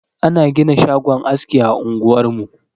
An gina shagon aski a unguwar mu.